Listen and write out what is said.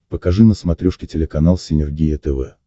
покажи на смотрешке телеканал синергия тв